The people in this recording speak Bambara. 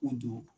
U don